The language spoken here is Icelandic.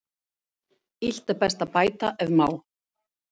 Illt er best að bæta ef má.